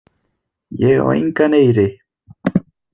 Ég á engan eyri.